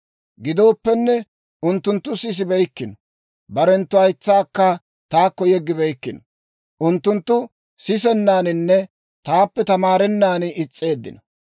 Gidooppenne, unttunttu sisibeykkino; barenttu haytsaakka taakko yeggibeykkino. Unttunttu sisennaaninne taappe tamaarennaan is's'eeddino.